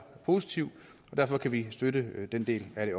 positiv og derfor kan vi støtte den del af det